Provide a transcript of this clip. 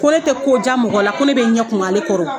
Ko ne tɛ kojan mɔgɔ la ko ne bɛ ɲɛ kumu ale kɔrɔ